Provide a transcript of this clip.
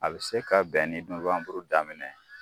A bɛ se ka bɛn ni nobanburu daminɛ ye.